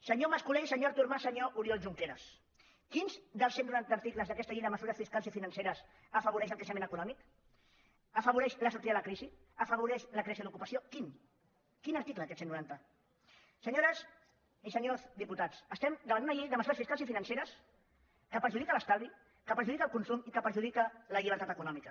senyor mas colell senyor artur mas senyor oriol junqueras quins dels cent noranta articles d’aquesta llei de mesures fiscals i financeres afavoreix el creixement econòmic afavoreix la sortida de la crisi afavoreix la creació d’ocupació quin quin article d’aquests cent noranta senyores i senyors diputats estem davant una llei de mesures fiscals i financeres que perjudica l’estalvi que perjudica el consum i que perjudica la llibertat econòmica